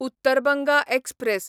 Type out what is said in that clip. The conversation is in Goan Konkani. उत्तर बंगा एक्सप्रॅस